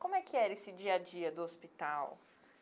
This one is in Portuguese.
Como é que era esse dia-a-dia do hospital?